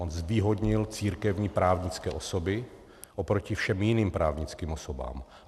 On zvýhodnil církevní právnické osoby oproti všem jiným právnickým osobám.